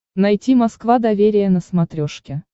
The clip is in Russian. найти москва доверие на смотрешке